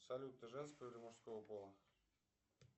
салют ты женского или мужского пола